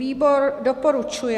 Výbor doporučuje.